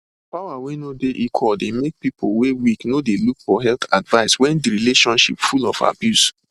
power wey no dey equal dey make people wey weak no de look for health advice when de relationships full of abuse